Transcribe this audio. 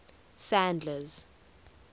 sadler's